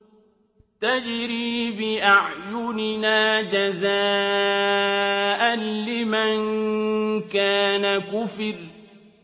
تَجْرِي بِأَعْيُنِنَا جَزَاءً لِّمَن كَانَ كُفِرَ